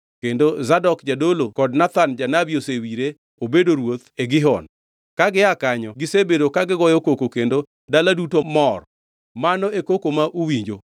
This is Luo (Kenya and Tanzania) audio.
kendo Zadok jadolo kod Nathan janabi osewire obedo ruoth e Gihon. Ka gia kanyo gisebedo ka gigoyo koko kendo dala duto mor. Mano e koko ma uwinjo.